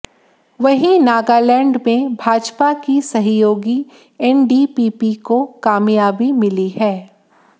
वहीं नागालैंड में भाजपा की सहयोगी एनडीपीपी को कामयाबी मिली है